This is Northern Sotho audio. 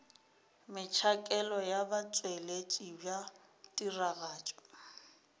metšhakelo ya botšweletši bja tiragatšo